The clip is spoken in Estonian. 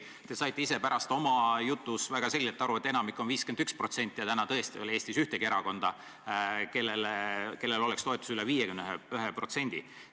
Te saite ju oma jutus väga selgelt aru, et enamik on 51% ja praegu tõesti ei ole Eestis ühtegi erakonda, kelle toetus oleks üle 51%.